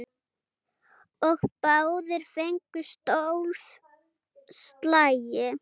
Og báðir fengu tólf slagi.